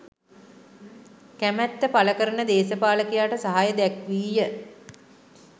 කැමැත්ත පළකරන දේශපාලකයාට සහාය දැක්වීය.